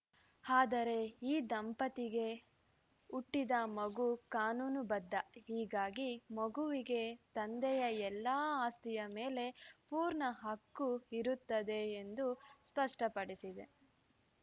ಆದರೆ ಈ ದಂಪತಿಗೆ ಹುಟ್ಟಿದ ಮಗು ಕಾನೂನು ಬದ್ಧ ಹೀಗಾಗಿ ಮಗುವಿಗೆ ತಂದೆಯ ಎಲ್ಲಾ ಆಸ್ತಿಯ ಮೇಲೆ ಪೂರ್ಣ ಹಕ್ಕು ಇರುತ್ತದೆ ಎಂದು ಸ್ಪಷ್ಟಪಡಿಸಿದೆ